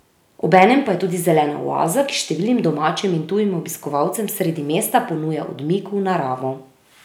Obenem pa je tudi zelena oaza, ki številnim domačim in tujim obiskovalcem sredi mesta ponuja odmik v naravo.